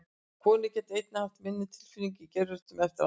Konur geta einnig haft minni tilfinningu í geirvörtu eftir aðgerð.